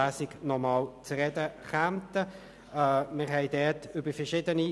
– Ich sehe keinen Widerspruch.